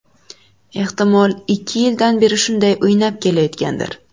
Ehtimol, ikki yildan beri shunday o‘ynab kelayotgandir.